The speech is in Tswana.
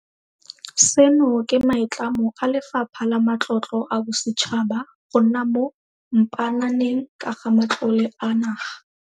Seno ke maitlamo a Lefapha la Matlotlo a Bosetšhaba go nna mo mpaananeng ka ga matlole a naga.